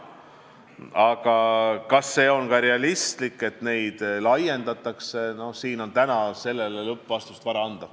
Aga kas see on ka realistlik, et neid laiendatakse – siin on täna sellele lõplikku vastust vara anda.